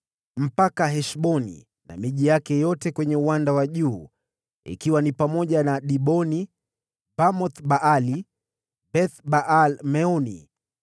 hadi Heshboni na miji yake yote kwenye uwanda wa juu, ikijumlishwa miji ya Diboni, Bamoth-Baali, Beth-Baal-Meoni,